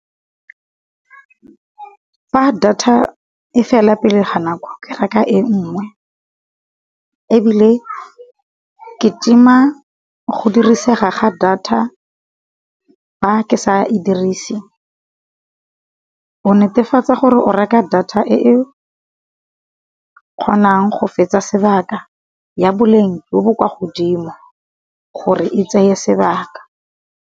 Fa data e fela pele ga nako ke reka e nngwe, ebile ke tima go dirisega ga data fa ke sa e dirisi. O netefatsa gore o reka data e kgonang go fetsa sebaka ya boleng jo bo kwa godimo gore e tseye sebaka.